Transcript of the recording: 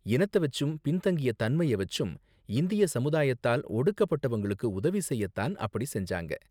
இனத்த வச்சும் பின்தங்கிய தன்மைய வச்சும் இந்திய சமுதாயத்தால் ஒடுக்கப்பட்டவங்களுக்கு உதவி செய்ய தான் அப்படி செஞ்சாங்க.